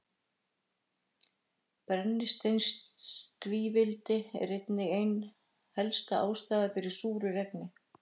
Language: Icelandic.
Brennisteinstvíildi er einnig ein helsta ástæðan fyrir súru regni.